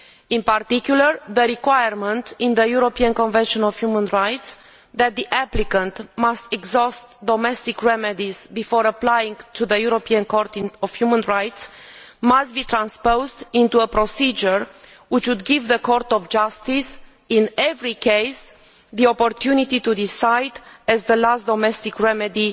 In particular, the requirement in the European Convention on Human Rights that the applicant must exhaust domestic remedies before applying to the European Court of Human Rights must be transposed into a procedure which would give the Court of Justice in every case the opportunity to decide as the last domestic remedy